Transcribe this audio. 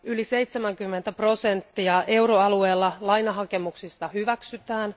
Yli 70 prosenttia euroalueen lainahakemuksista hyväksytään.